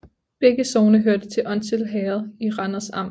Begge sogne hørte til Onsild Herred i Randers Amt